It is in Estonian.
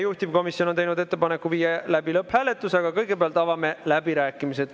Juhtivkomisjon on teinud ettepaneku viia läbi lõpphääletus, aga kõigepealt avame läbirääkimised.